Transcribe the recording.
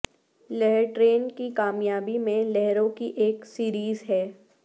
لہر ٹرین کی کامیابی میں لہروں کی ایک سیریز ہے